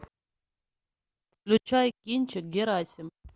включай кинчик герасим